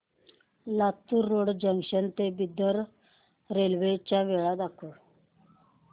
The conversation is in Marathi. लातूर रोड जंक्शन ते बिदर रेल्वे च्या वेळा दाखव